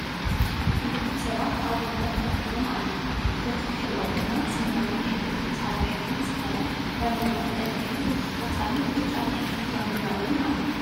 ክልተ ሰባት ኣብ ወንበር ከፍ ኢሎም ኣለው ።በቲ ድሕሪኦም ድማ ሰማያዊ ሕብሪ ብፃዕዳ ሕብሪ ዝኮነ ባንዴራን ቀይሕን ቆፃልን ብጫን ሕብሪ ባንዴራ እውን ኣሎ።